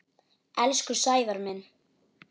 Elsku Sævar minn.